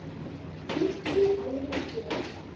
fimmtíu árum fyrr.